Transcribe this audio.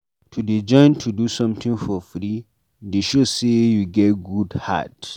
To dey join to do sometin free dey show sey you get good heart.